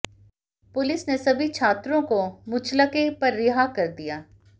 police ने सभी छात्रों को मुचलके पर रिहा कर दिया